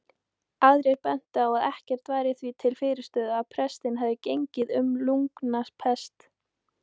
Aðrir bentu á að ekkert væri því til fyrirstöðu að pestin hefði gengið sem lungnapest.